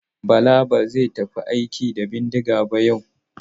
Bala ba zai tafi aiki da bindiga ba yau.